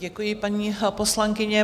Děkuji, paní poslankyně.